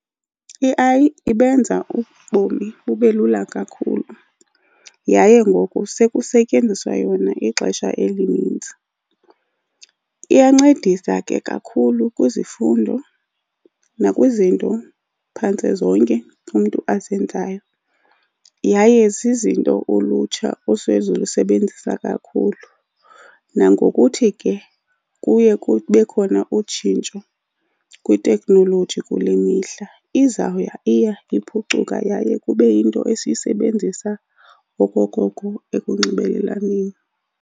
I-A_I ibenza ubomi bube lula kakhulu yaye ngoku sekusetyenziswa yona ixesha elininzi. Iyancedisa ke kakhulu kwizifundo nakwizinto, phantse zonke umntu azenzayo. Yaye zizinto ulutsha osezilusebenzisa kakhulu. Nangokuthi ke kuye kube khona utshintsho kwiteknoloji kule mihla. Izawuya iya iphucuka yaye kube yinto esiyisebenzisa okokoko ekunxibelelaneni.